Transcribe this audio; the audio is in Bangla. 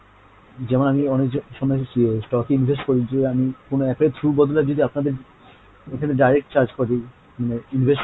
যেমন আমি অনেক stock invest করি যে আমি কোনো app এর through এর বদলে যদি আপনাদের এখানে direct charge করি মানে invest